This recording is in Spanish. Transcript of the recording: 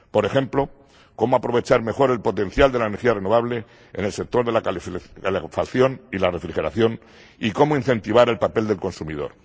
Por ejemplo, cómo aprovechar mejor el potencial de la energía renovable en el sector de la calefacción y la refrigeración y cómo incentivar el papel del consumidor.